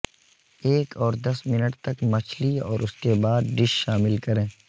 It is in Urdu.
ایک اور دس منٹ تک مچھلی اور اس کے بعد ڈش شامل کریں